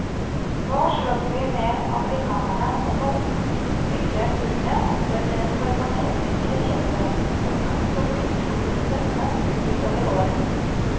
Nå slåss vi med amerikanerne om å fylle hullet etter det taiwanesiske kjøttet, en kamp som blir utrolig spennende utover året.